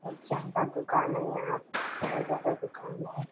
और ज्यादा दुकान है यहाँ पे बहोत ज्यादा दुकान है ।